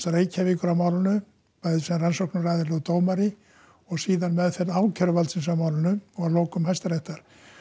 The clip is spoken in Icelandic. Reykjavíkur á málinu bæði sem rannsóknaraðili og dómari og síðan meðferð ákæruvaldsins á málinu og að lokum Hæstaréttar